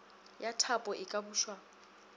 ya thapo e ka bušwa